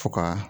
Fo ka